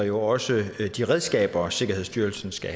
jo også de redskaber sikkerhedsstyrelsen skal